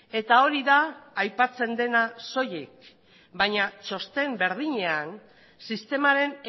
eta hori da aipatzen dena soilik baina txosten berdinean sistemaren